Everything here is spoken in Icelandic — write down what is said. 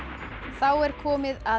er komið að